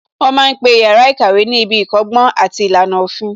Wọ́n ma ń pe yàrá ìkàwé ní ibi ìkọ́gbọ́n àti ìlànà òfin